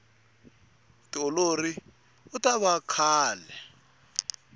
tiololi utava kahle